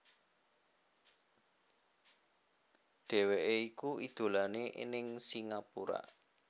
Dheweké iku idolané ning Singapura